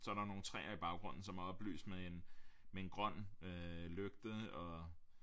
Så er der nogle træer i baggrunden som er oplyst med en en grøn lygte og